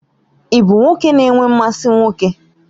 Ị bụ nwoke na-enwe mmasị nwoke?